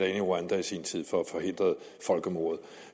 i rwanda i sin tid for at forhindre folkemordet